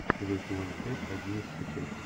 чужой сезон пять одиннадцатая часть